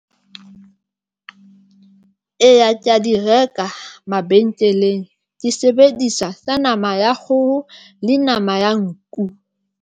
Eya, ke ya di reka mabenkelenge ke sebedisa tsa nama ya kgoho le nama ya nku.